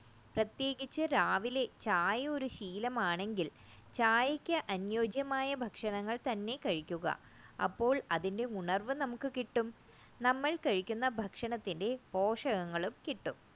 പ്രത്യേകിച്ചും രാവിലെ ചായ ഒരു ശീലം ആണെങ്കിൽ ചായക്ക് അന്യോജ്യമായ ഭക്ഷണങ്ങൾ തന്നെ കഴിക്കുക അപ്പോൾ അതിന്റെ ഉണർവ് നമുക്ക് കിട്ടും നമ്മൾ കഴിക്കുന്ന ഭക്ഷണത്തിന്റെ പോഷകങ്ങൾ കിട്ടും